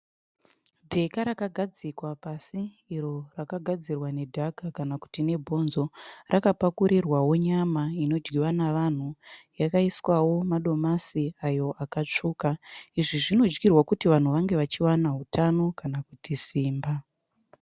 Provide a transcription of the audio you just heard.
Dheka rakagadzikwa pasi iro rakagadzirwa nedhaka kana kuti nebonzo. Rakapakurirwawo nyama inodyiwa navanhu yakaiswawo madomasi ayo akatsvuka. Izvi zvinodyirwa kuti vanhu vange vachiwana hutano kana kuti simba.